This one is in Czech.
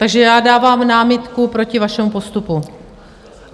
Takže já dávám námitku proti vašemu postupu.